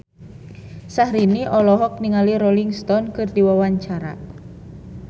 Syahrini olohok ningali Rolling Stone keur diwawancara